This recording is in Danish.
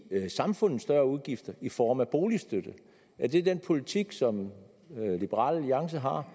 samfundet større udgifter i form af boligstøtte er det den politik som liberal alliance har